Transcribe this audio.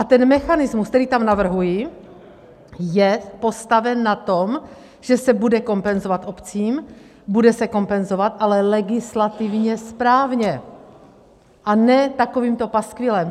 A ten mechanismus, který tam navrhuji, je postaven na tom, že se bude kompenzovat obcím, bude se kompenzovat, ale legislativně správně, a ne takovýmto paskvilem.